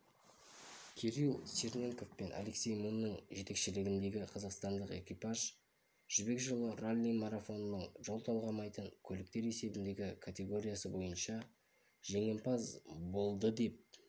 кирилл черненков пен алексей мунның жетекшілігіндегі жалғыз қазақстандық экипаж жібек жолы ралли-марафонының жол талғамайтын көліктер есебіндет категориясы бойынша жеңімпаз болды деп